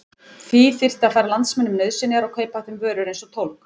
Því þyrfti að færa landsmönnum nauðsynjar og kaupa af þeim vörur eins og tólg.